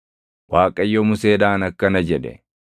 Waaqayyo Museedhaan akkana jedhe;